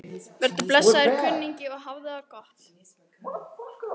Vertu blessaður, kunningi, og hafðu það gott.